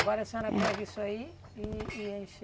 Agora a senhora pega isso aí e e enche.